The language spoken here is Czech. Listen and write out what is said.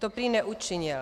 To prý neučinil.